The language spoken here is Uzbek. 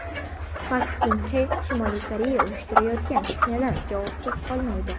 Pak Kin Xe: Shimoliy Koreya uyushtirayotgan fitnalar javobsiz qolmaydi.